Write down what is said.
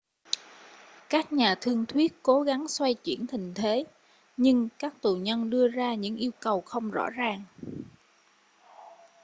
các nhà thương thuyết cố gắng xoay chuyển tình thế nhưng các tù nhân đưa ra những yêu cầu không rõ ràng